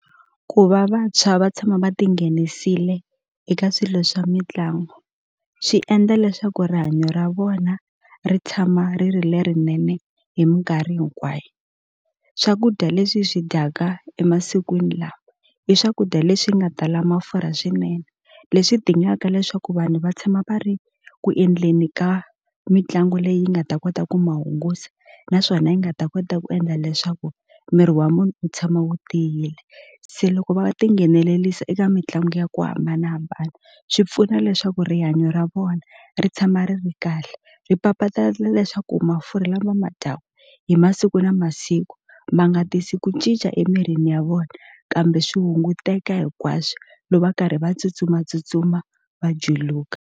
Ku va vantshwa va tshama va ti nghenisile eka swilo swa mitlangu swi endla leswaku rihanyo ra vona ri tshama ri ri lerinene hi minkarhi hinkwayo swakudya leswi hi swi dyaka emasikwini lama i swakudya leswi nga tala mafurha swinene leswi dingaka leswaku vanhu va tshama va ri ku endleni ka mitlangu leyi nga ta kota ku ma hungusa naswona yi nga ta kota ku endla leswaku miri wa munhu wu tshama wu tiyile se loko va tinghenelelisa eka mitlangu ya ku hambanahambana swi pfuna leswaku rihanyo ra vona ri tshama ri ri kahle ri papalata na leswaku mafurha lama u ma dyaku hi masiku na masiku ma nga tisi ku cinca emirini ya vona kambe swi hunguteka hinkwaswo loko va karhi va tsutsumatsutsuma va juluka.